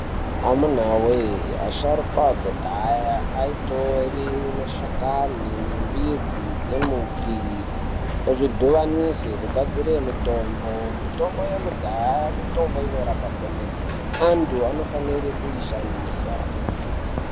Amunawee asharukwa akudhayaa aitora mashakani nembidzi dzembuti ozvidhuvanisa kugadzira mitombo mitombo yakudhaya mitombo inorapa kwemene anthu anofanira kuishandisa .